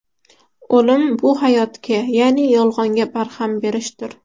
O‘lim bu hayotga, ya’ni yolg‘onga barham berishdir.